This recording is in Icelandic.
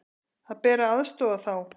Það ber að aðstoða þá.